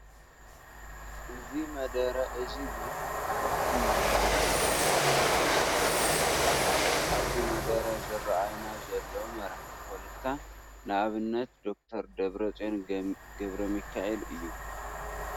እዚ መደረ እዚ ቡዙሓት ሓለፍትን ማራሕቲ ፖለቲካን ዝሳተፉሉ እንትኮን ኣብዚ መደረ ዝረአዩና ዘለዉ ካብ መራሕቲ ፖለቲካ ንኣብነት ደ/ር ደብረፅዮን ገ/ሚካኤል እዮ።